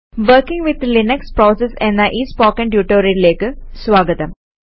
working with Linux processes എന്ന ഈ spoken ട്യൂട്ടോറിയലിലേക്ക് സ്വാഗതം